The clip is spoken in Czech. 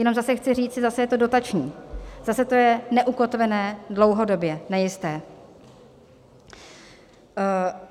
Jinak zase chci říci, zase je to dotační, zase je to neukotvené, dlouhodobě nejisté.